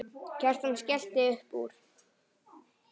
Kjartan skellti upp úr.